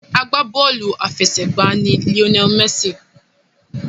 Agbá bọ́ọ̀lù àfẹsẹ̀gbá ni Lionel Messi.